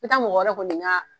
I ka mɔgɔ ko nin